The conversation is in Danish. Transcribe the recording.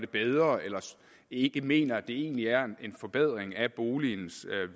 bedre eller ikke mener at det egentlig er en forbedring af boligens